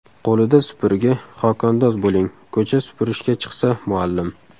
Qo‘lida supurgi, xokandoz bo‘ling, Ko‘cha supurishga chiqsa muallim!